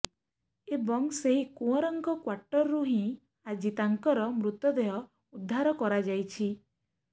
ଏବଂ ସେହି କୁଅଁରଙ୍କ କ୍ୱାର୍ଟରରୁ ହିଁ ଆଜି ତାଙ୍କର ମୃତ ଦେହ ଉଦ୍ଧାର କରାଯାଇଛି